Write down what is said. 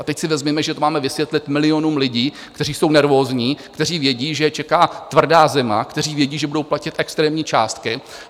A teď si vezměme, že to máme vysvětlit milionům lidí, kteří jsou nervózní, kteří vědí, že je čeká tvrdá zima, kteří vědí, že budou platit extrémní částky.